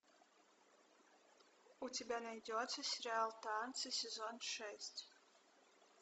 у тебя найдется сериал танцы сезон шесть